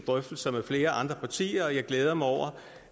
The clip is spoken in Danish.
drøftelser med flere andre partier og jeg glæder mig over